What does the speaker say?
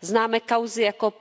Známe kauzy jako